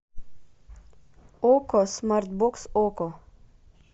окко смарт бокс окко